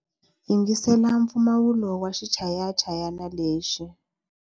Yingisela mpfumawulo wa xichayachayani lexi.